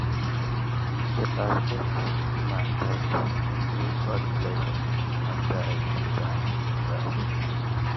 the basket woman talk “god bless you” after i greet am well.